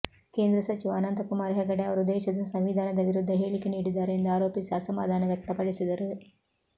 ಕೇಂದ್ರ ಸಚಿವ ಅನಂತಕುಮಾರ್ ಹೆಗಡೆ ಅವರು ದೇಶದ ಸಂವಿಧಾನದ ವಿರುದ್ಧ ಹೇಳಿಕೆ ನೀಡಿದ್ದಾರೆ ಎಂದು ಆರೋಪಿಸಿ ಅಸಮಾಧಾನ ವ್ಯಕ್ತಪಡಿಸಿದರು